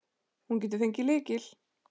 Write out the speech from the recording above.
Hún getur fengið lykil.